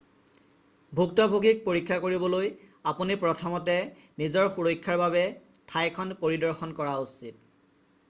ভুক্তভোগীক পৰীক্ষা কৰিবলৈ আপুনি প্ৰথমতে নিজৰ সুৰক্ষাৰ বাবে ঠাইখন পৰিদৰ্শন কৰা উচিত